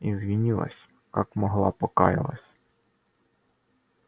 извинилась как могла покаялась